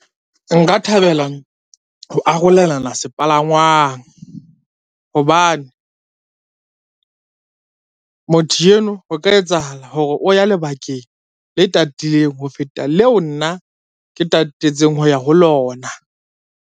Nka thabela ho arolelana sepalangwang, hobane motho eno ho ka etsahala hore o ya lebakeng le tatileng ho feta leo nna ke tatetseng ho ya ho lona.